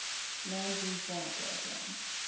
land reform program